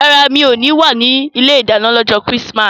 No, I won't be in the kitchen on Chrismas day